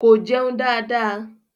Ko jeun da da.